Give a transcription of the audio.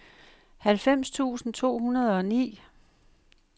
halvfems tusind to hundrede og ni